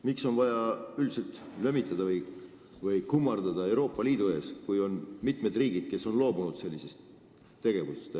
Miks on vaja lömitada ja kummardada Euroopa Liidu ees, kui on mitu riiki, kes on sellest loobunud?